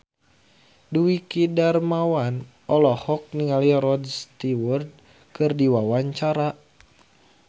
Dwiki Darmawan olohok ningali Rod Stewart keur diwawancara